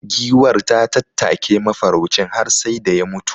Giwar ta tattake mafaraucin har sai da ya mutu.